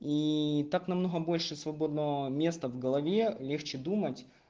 и так намного больше свободного места в голове легче думать